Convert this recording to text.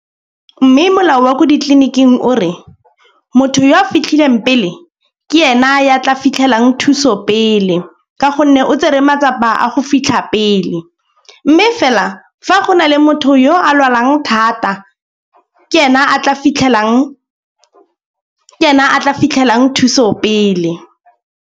Mme molao wa ko ditleliniking o re motho yo a fitlhileng pele ke ena ya tla fitlhelang thuso pele. Ka gonne o tsere matsapa a go fitlha pele. Mme fela fa go na le motho yo a lwalang thata ke ena a tla fitlhelang thuso pele.